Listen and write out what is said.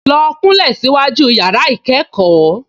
Lọ kúnlẹ̀ síwájú yàrá-ìkẹ́kọ̀ọ́